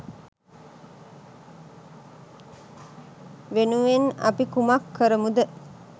වෙනුවෙන් අපි කුමක්‌ කරමුද?